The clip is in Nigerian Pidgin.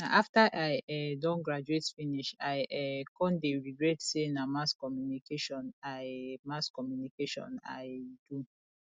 na after i um don graduate finish i um come dey regret say na mass communication i mass communication i do